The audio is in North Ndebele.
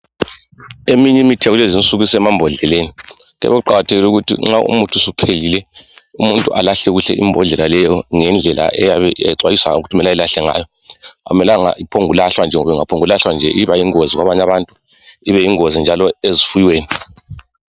Eminye imithi yakulezinsuku esemambodleleni. Kuyabe kuqakathekile ukuthi nxa umuthi suphelile umuntu alahle kuhle imbodlela leyo ngendlela eyabe exhwayiswe ngakho ukuthi eyilahle ngayo. Akumelanga iphongulahwa nje ngoba ingaphongu kulahlwa nje iba yingozi kwabanye abantu ibe yingozi njalo ezifuyweni.